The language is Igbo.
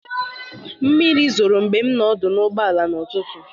Mmiri zoro mgbe m nọ n'ọdụ ụgbọala n'ụtụtụ a.